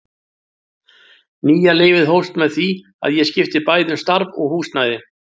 Nýja lífið hófst með því að ég skipti bæði um starf og húsnæði.